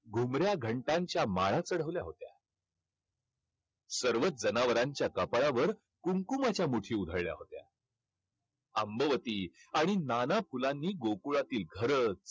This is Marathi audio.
घुमऱ्या घंटांच्या माळा चढवल्या होत्या. सर्वच जनावरांच्या कपाळावर कुंकूमाच्या मुठी उधळल्या होत्या. आंबवती आणि नाना फुलांनी गोकुळातील घरं